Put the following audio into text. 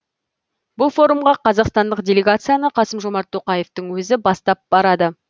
бұл форумға қазақстандық делегацияны қасым жомарт тоқаевтың өзі бастап барады